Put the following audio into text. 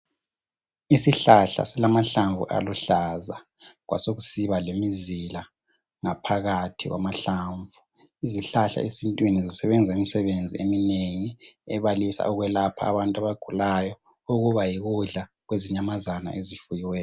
Isihlahla silahlamvu aluhlaza kwasekusibalemizila ngaphakathi kwamahlamvu izihlahla esintwini zisebenza imisebenzi eminegi ebalisa ukwelapha abantu abagulayo okuba yikudla kwezinyamazana ezifuyiweyo.